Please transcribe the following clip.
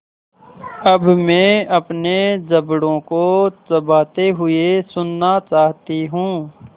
अब मैं अपने जबड़ों को चबाते हुए सुनना चाहती हूँ